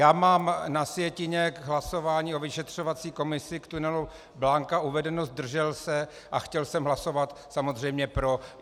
Já mám na sjetině k hlasování o vyšetřovací komisi k tunelu Blanka uvedeno zdržel se a chtěl jsem hlasovat samozřejmě pro.